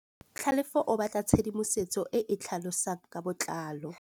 Tlhalefô o batla tshedimosetsô e e tlhalosang ka botlalô.